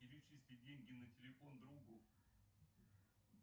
перечисли деньги на телефон другу